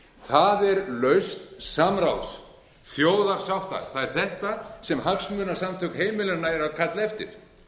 það er lausn samráðs þjóðarsáttar það er þetta sem hagsmunasamtök heimilanna eru að kalla eftir